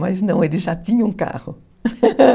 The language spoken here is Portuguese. Mas não, ele já tinha um carro.